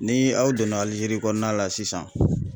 Ni aw donna Alijeri kɔnɔna la sisan.